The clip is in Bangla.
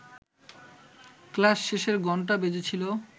ক্লাস শেষের ঘণ্টা বেজেছিল